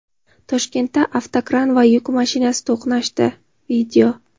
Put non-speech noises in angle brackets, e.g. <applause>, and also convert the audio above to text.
Toshkentda avtokran va yuk mashinasi to‘qnashdi. <video>